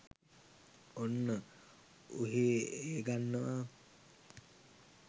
ඔන්න ඔහේඑ ගන්නවා